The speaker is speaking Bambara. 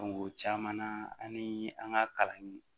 o caman na an ni an ka kalan in